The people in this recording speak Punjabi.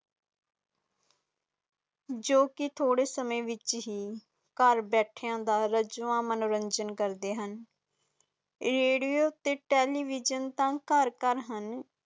ਜੋਕਿ ਥੋੜੇ ਸਮੇਂ ਵਿਚ ਹੀ ਘਰ ਬੈਠਿਆਂ ਦਾ ਰਾਜ੍ਯ ਮਨੋਰੰਜਨ ਕਰਦੇ ਹਨ, ਰੇਡੀਓ ਤੇ ਤੇਲੇਵਿਸਿਓਂ ਕਰ ਕਰ ਹਨ